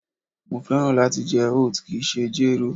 Mo fẹ́ràn láti jẹ oat, kìí ṣe jéró